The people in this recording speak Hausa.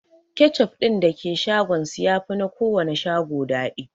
Kechup din da ke shagon su yafi na kowanne shago daɗi